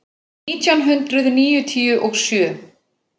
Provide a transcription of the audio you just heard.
Nítján hundruð níutíu og sjö